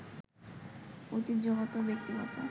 ঐতিহ্যগত, ব্যক্তিগত